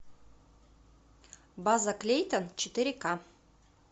база клейтон четыре ка